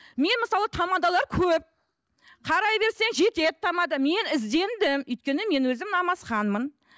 мен мысалы тамадалар көп қарай берсең жетеді тамада мен іздендім өйткені мен өзім намазханмын